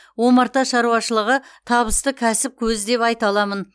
омарта шаруашылығы табысты кәсіп көзі деп айта аламын